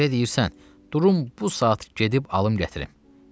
Elə deyirsən, durum bu saat gedib alım gətirim.